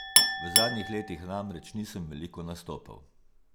V zadnjih letih namreč nisem veliko nastopal.